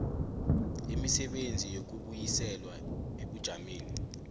imisebenzi yokubuyiselwa ebujameni